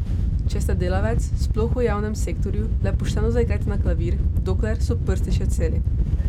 Če ste delavec, sploh v javnem sektorju, le pošteno zaigrajte na klavir, dokler so prsti še celi.